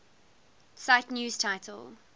cite news title